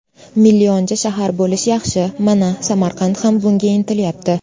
Millionchi shahar bo‘lish yaxshi, mana, Samarqand ham bunga intilyapti.